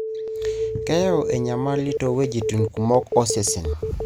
keyau enyamali toweujitin kumok osesen.